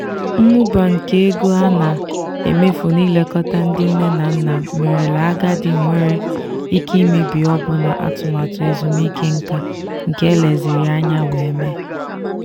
mmụba nke ego a na-emefu n'ilekọta ndị nne na nna merela agadi nwere ike imebi ọbụna atụmatụ ezumike nka nke eleziri anya wee mee.